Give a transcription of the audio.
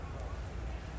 Gözləyir.